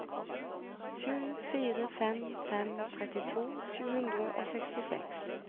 sju fire fem fem trettito sju hundre og sekstiseks